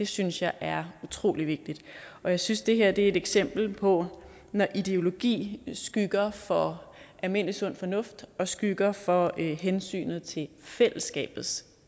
synes jeg er utrolig vigtigt og jeg synes det her er et eksempel på når ideologi skygger for almindelig sund fornuft og skygger for hensynet til fællesskabets